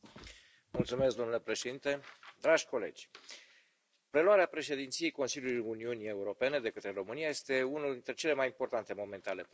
Domnule președinte, dragi colegi, preluarea președinției Consiliului Uniunii Europene de către România este unul dintre cele mai importante momente ale prezentului.